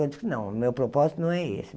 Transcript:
Eu disse que não, meu propósito não é esse.